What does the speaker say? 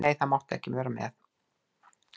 Nei, þú mátt ekki vera með.